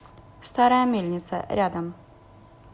старая мельница рядом